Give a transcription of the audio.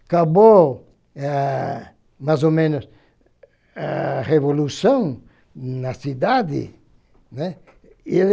Acabou, ah mais ou menos, a revolução na cidade, né. Eu